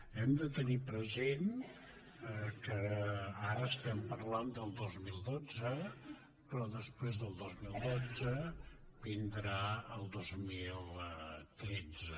hem de tenir present que ara estem parlant del dos mil dotze però després del dos mil dotze vindrà el dos mil tretze